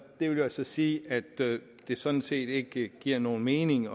vil jo så sige at det sådan set ikke giver nogen mening